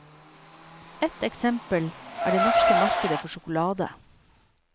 Ett eksempel er det norske markedet for sjokolade.